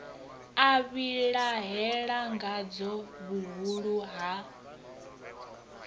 a vhilahela ngadzo vhuhulu ha